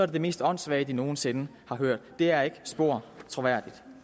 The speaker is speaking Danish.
det det mest åndssvage de nogen sinde har hørt det er ikke spor troværdigt